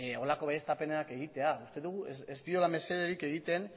horrelako baieztapenak egitea uste dugu ez diola mesederik egiten